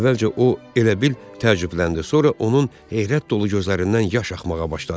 Əvvəlcə o elə bil təəccübləndi, sonra onun heyrət dolu gözlərindən yaş axmağa başladı.